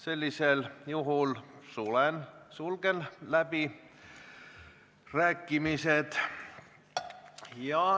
Sellisel juhul sulgen läbirääkimised.